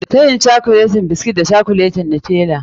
Tayin cokuleti biskit da cokuletin Nutella.